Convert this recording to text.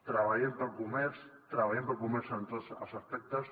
treballem pel comerç treballem pel comerç en tots els aspectes